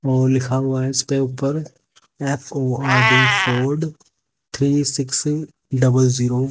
वो लिखा हुआ है इसपे ऊपर F O R D Ford three six double zero --